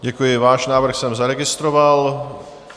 Děkuji, váš návrh jsem zaregistroval.